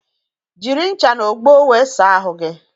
Jiri ṅcha n'ogbo wee saa ahụ gi